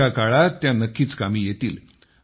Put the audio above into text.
पुढच्या काळात त्या नक्कीच कामी येतील